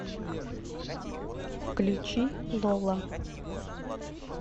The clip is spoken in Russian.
включи лола